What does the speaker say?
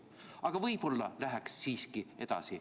Aga võib-olla läheks siiski edasi.